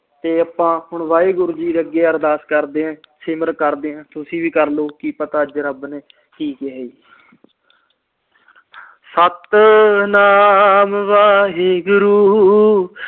ਤੇ ਆਪ ਹੁਣ ਵਾਹਿਗੁਰੂ ਜੀ ਅੱਗੇ ਅਰਦਾਸ ਕਰਦੇ ਆ ਸਿਮਰਨ ਕਰਦੇ ਆ ਤੁਸੀ ਵੀ ਕਰਲੋ ਕੀ ਪਤਾ ਅਜੇ ਰੱਬ ਨੇ ਕੀ ਕਿਹਾ ਜੀ ਸਤਿਨਾਮ ਵਾਹਿਗੁਰੂ